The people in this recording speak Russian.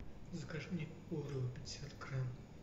закажи мне орео пятьдесят грамм